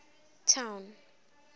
town